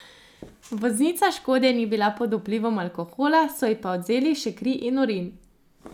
Voznica škode ni bila pod vplivom alkohola, so pa ji odvzeli še kri in urin.